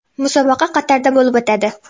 Musobaqa Qatarda bo‘lib o‘tadi.